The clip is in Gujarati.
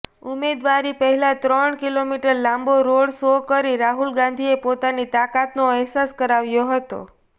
ઉમેદવારી પહેલા ત્રણ કિલોમીટર લાંબો રોડ શો કરી રાહુલ ગાંધીએ પોતાની તાકાતનો અહેસાસ કરાવ્યો હતો